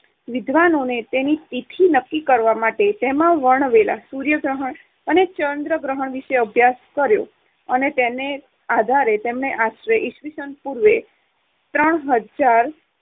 વિદ્વાનોએ તેની તિથિ નક્કી કરવા માટે તેમાં વર્ણવેલા સૂર્ય ગ્રહણ અને ચંદ્ર ગ્રહણ વિષે અભ્યાસ કર્યો અને તેને આધારે તેમને આશરે ઈસ્વીસન પૂર્વે ત્રણ હજાર